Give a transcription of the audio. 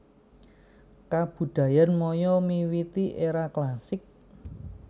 Kabudayan Maya miwiti éra klasik